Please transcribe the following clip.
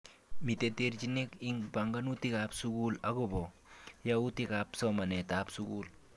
Mite terchinek ing panganutik ap sukul akopo yautik ap somanet ap sukul.